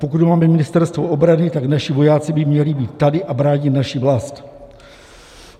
Pokud máme Ministerstvo obrany, tak naši vojáci by měli být tady a bránit naši vlast.